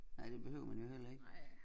Nej det behøver man jo heller ikke